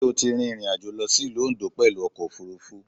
Sé o ti rin ìrìnàjò lọ sí Ìlú Oǹdó pẹ̀lú ọkò òfurufú?